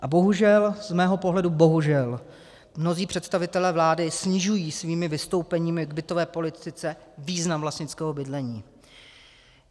A bohužel, z mého pohledu bohužel, mnozí představitelé vlády snižují svými vystoupeními k bytové politice význam vlastnického bydlení.